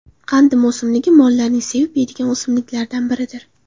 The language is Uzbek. Qandim o‘simligi mollarning sevib yeydigan o‘simliklaridan biridir.